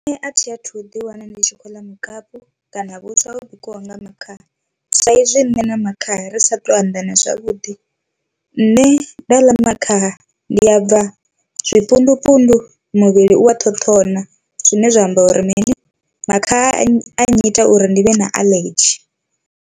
Nṋe athi athu ḓi wana ndi tshi khou ḽa mukapu kana vhuswa ho bikiwaho nga makhaha, saizwi nṋe na makhaha ri sa to anḓana zwavhuḓi nṋe nda ḽa makhaha ndi a bva zwipundu pundu muvhili u a ṱhoṱhona, zwine zwa amba uri mini makhaha a a nnyita uri ndi vhe na aḽedzhi.